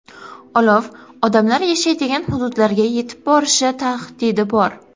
Olov odamlar yashaydigan hududlarga yetib borishi tahdidi bor.